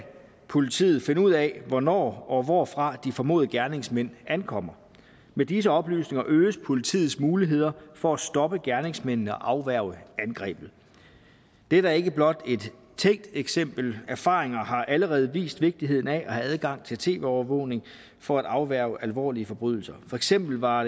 politiet finde ud af hvornår og hvorfra de formodede gerningsmænd ankommer med disse oplysninger øges politiets muligheder for at stoppe gerningsmændene og afværge angrebet dette er ikke blot et tænkt eksempel erfaringer har allerede vist vigtigheden af at have adgang til tv overvågning for at afværge alvorlige forbrydelser for eksempel var